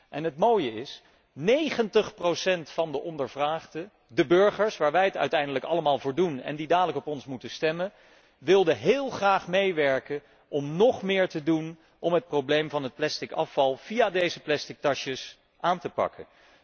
En het mooie is dat 90 van de ondervraagden, de burgers, waar wij het uiteindelijk allemaal voor doen en die zo dadelijk op ons moeten stemmen, heel graag wilden meewerken om nog meer te doen om het probleem van het plastic afval via deze plastic tasjes aan te pakken.